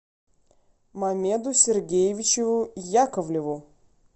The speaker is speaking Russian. мамеду сергеевичу яковлеву